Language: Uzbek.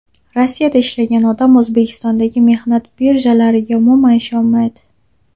Rossiyada ishlagan odam O‘zbekistondagi mehnat birjalariga umuman ishonmaydi.